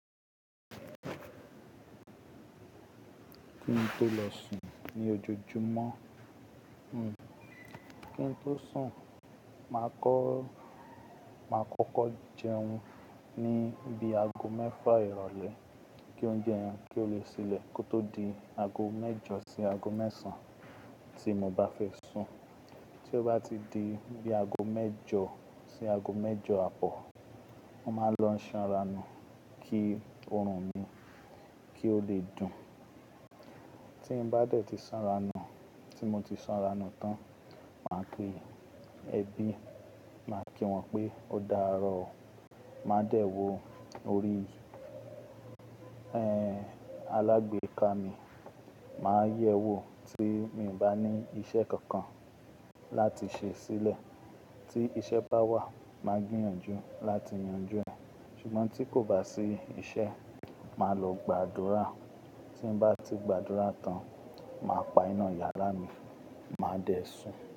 Kí n tó lọ sùn ní ojoojúmọ́, hmm kí n tó sùn, màá kọ́, màá kọ́kọ́ jẹun ní bí i ago mẹ́fà ìrọ̀lẹ́, kí oúnjẹ yẹn kí ó lè ṣilẹ̀ kó tó di ago mẹ́jọ sí ago mẹ́sàn-án tí mo bá fẹ́ sùn. Tí ó bá ti di bí i ago mẹ́jọ sí ago mẹ́jọ àpọ́n, mo máa lọ sanra nú kí oòrùn mi kí ó lè dùn. Tí n bá dẹ̀ ti sanra nú, tí mo ti sanra nú tán, màá kí ẹbí, màá kí wọn pé "o dáàrọ́ o", màá dẹ̀ wọ orí, ẹ́ń, alágbèéká mi, màá yẹ̀ wò tí mo ì bá ní iṣẹ́ kankan láti ṣe sílẹ̀. Tí iṣẹ́ bá wà, màá gbìyànjú láti yanjú ẹ̀. Ṣùgbọ́n tí kò bá sí iṣẹ́, màá lọ gbàdúrà. Tí n bá ti gbàdúrà tán, màá pa iná yàrá mi, màá dẹ̀ sùn.